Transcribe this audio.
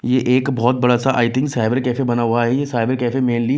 ये एक बहुत बड़ा सा आई थिंक साइबर कैफे बना हुआ है ये साइबर कैफे मेनली --